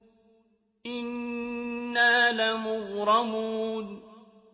إِنَّا لَمُغْرَمُونَ